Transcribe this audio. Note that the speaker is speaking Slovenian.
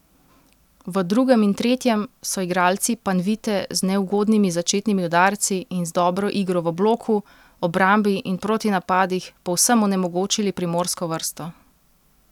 V drugem in tretjem so igralci Panvite z neugodnimi začetnimi udarci in z dobro igro v bloku, obrambi in v protinapadih povsem onemogočili primorsko vrsto.